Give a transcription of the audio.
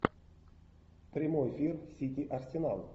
прямой эфир сити арсенал